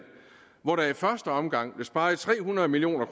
hvor der i første omgang blev sparet tre hundrede million